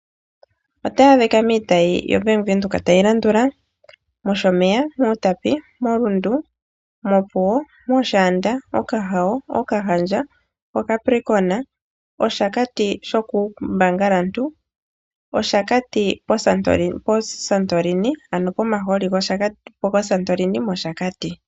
Otayi adhika miitayi yoBank Windhoek tayi landula: mOshomeya, mUutapi, moRundu, mOpuwo, mOshaanda, mOkahao, Okahandja, Capricorn, Oshakati shokUUmbangalantu nosho wo pomahooli goSantorini mOshakati.